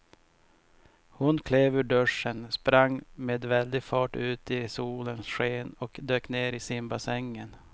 Hon klev ur duschen, sprang med väldig fart ut i solens sken och dök ner i simbassängen.